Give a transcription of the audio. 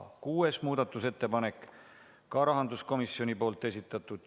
Kuues muudatusettepanek, ka rahanduskomisjoni esitatud, juhtivkomisjoni seisukoht on arvestada täielikult.